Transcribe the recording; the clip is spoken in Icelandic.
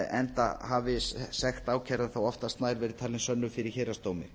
enda hafi sekt ákærða þá oftast nær verið talin sönnuð fyrir héraðsdómi